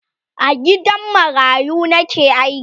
a gidan marayu Nike aiki